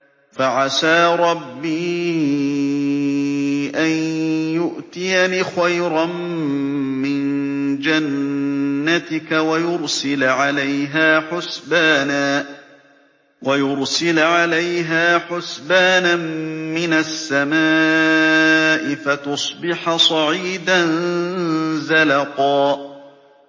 فَعَسَىٰ رَبِّي أَن يُؤْتِيَنِ خَيْرًا مِّن جَنَّتِكَ وَيُرْسِلَ عَلَيْهَا حُسْبَانًا مِّنَ السَّمَاءِ فَتُصْبِحَ صَعِيدًا زَلَقًا